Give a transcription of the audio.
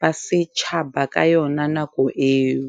ba setjhaba ka yona nako eo.